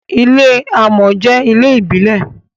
ilé amò jé ilé ìbílè.